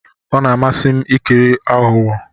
Ọ na-amasị m ikiri aghụghọ.